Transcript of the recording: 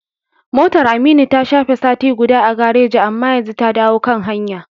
Motar Aminu ta shafe sati guda a gareji, amma yanzu ta dawo kan hanya.